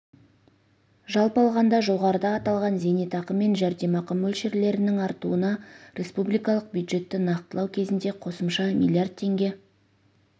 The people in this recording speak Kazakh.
жалпы алғанда жоғарыда аталған зейнетақы мен жәрдемақы мөлшерлерінің артуына республикалық бюджетті нақтылау кезінде қосымша миллиард теңге